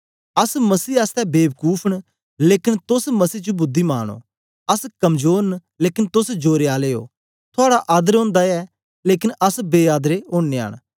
अस मसीह आसतै बेबकूफ न लेकन तोस मसीह च बुद्धिमान ओ अस कमजोर न लेकन तोस जोरे आले ओ थुआड़ा आदर ओंदा ऐ लेकन अस बे आदरे ओनयां न